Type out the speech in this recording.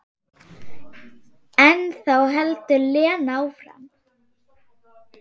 En þá heldur Lena áfram.